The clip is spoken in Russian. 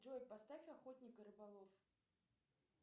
джой поставь охотник и рыболов